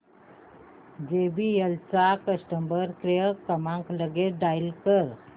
JBL चा customer care क्रमांक लगेच डायल कर